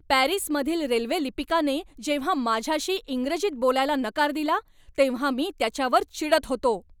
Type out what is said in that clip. पॅरिसमधील रेल्वे लिपिकाने जेव्हा माझ्याशी इंग्रजीत बोलायला नकार दिला तेव्हा मी त्याच्यावर चिडत होतो.